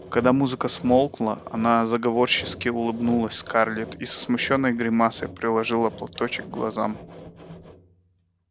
когда музыка смолкла она заговорщически улыбнулась скарлетт и со смущённой гримаской приложила платочек к глазам